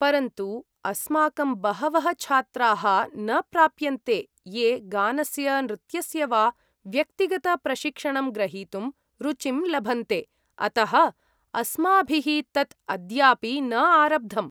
परन्तु अस्माकं बहवः छात्राः न प्राप्यन्ते ये गानस्य नृत्यस्य वा व्यक्तिगतप्रशिक्षणं ग्रहीतुं रुचिं लभन्ते। अतः अस्माभिः तत् अद्यापि न आरब्धम्।